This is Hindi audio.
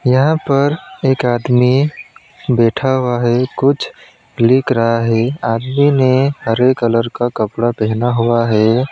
यहां पर एक आदमी बैठा हुआ है कुछ लिख रहा है आदमी ने हरे कलर का कपड़ा पहना हुआ है।